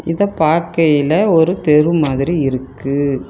இத பாக்கயில ஒரு தெரு மாதிரி இருக்கு.